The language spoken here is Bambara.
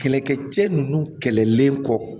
Kɛlɛkɛcɛ ninnu kɛlɛlen kɔ